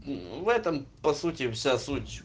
в этом по сути вся суть